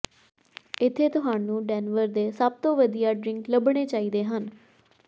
ਇੱਥੇ ਤੁਹਾਨੂੰ ਡੈਨਵਰ ਦੇ ਸਭ ਤੋਂ ਵਧੀਆ ਡ੍ਰਿੰਕ ਲੱਭਣੇ ਚਾਹੀਦੇ ਹਨ